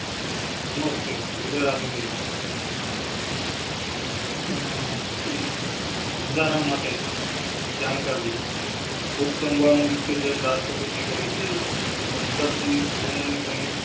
નમસ્તે દિનેશ આહ બંધારણ માટે જાણકારી લોકસભા નું વિસર્જન રાષ્ટ્રપતિ કરેં થી સંસદ ની